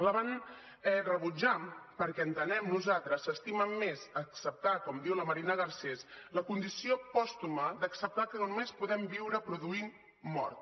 la van rebutjar perquè entenem nosaltres s’estimen més acceptar com diu la marina garcés la condició pòstuma d’acceptar que només podem viure produint mort